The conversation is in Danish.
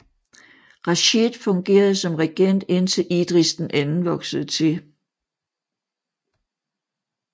Rashid fungerede som regent ind til Idris II voksede til